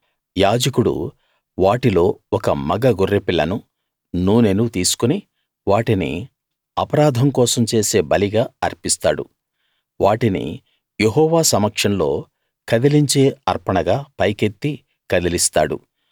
యాజకుడు వాటిలో ఒక మగ గొర్రెపిల్లనూ నూనెనూ తీసుకుని వాటిని అపరాధం కోసం చేసే బలిగా అర్పిస్తాడు వాటిని యెహోవా సమక్షంలో కదలించే అర్పణగా పైకెత్తి కదిలిస్తాడు